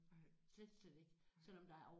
Nej nej